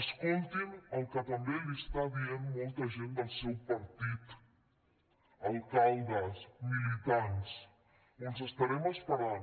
escoltin el que també els està dient molta gent del seu partit alcaldes militants els estarem esperant